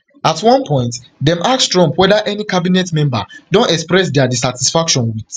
at one one point dem ask trump whether any cabinet member don express dia dissatisfaction wit